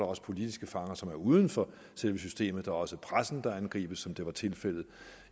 også politiske fanger som er uden for selve systemet det er også pressen der angribes som det var tilfældet